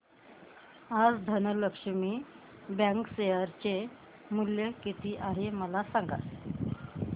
आज धनलक्ष्मी बँक चे शेअर चे मूल्य किती आहे मला सांगा